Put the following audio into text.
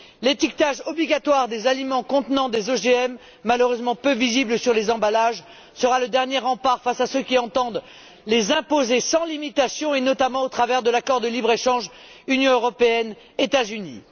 L'étiquetage obligatoire des aliments contenant des OGM malheureusement peu visible sur les emballages sera le dernier rempart face à ceux qui entendent les imposer sans limitation et notamment au travers de l'accord de libre échange Union européenne États Unis.